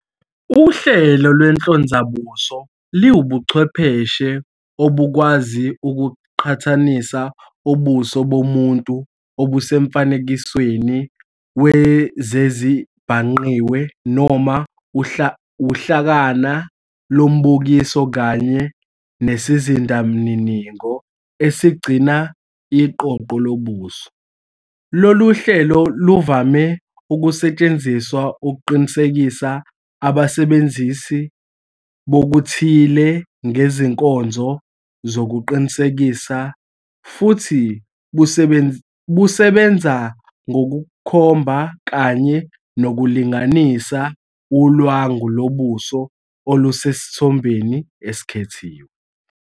Uhlelo lwenhlonzabuso liwubuchwepheshe obukwazi ukuqhathanisa ubuso bomuntu obusemfanekisweni wezezibhangqiwe noma uhlakana lombukiso kanye nesizindamininingo esigcina iqoqo lobuso. Lolu hlelo luvame ukusetshenziswa ukuqinisekisa abasebenzisi bokuthile ngezinkonzo zokuqinisekisa, futhi busebenza ngokukhomba kanye nokulinganisa ulwangu lobuso olusesithombeni esikhethiwe.